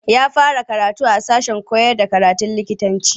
Ya fara karatu a sashen kyarda harshen Turanci.